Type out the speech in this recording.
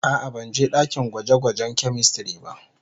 A'a, ban je dakin gwaje-gwajen "chemistry" ba.